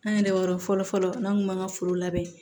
An yɛrɛ yɔrɔ fɔlɔfɔlɔ n'an kun b'an ka foro labɛn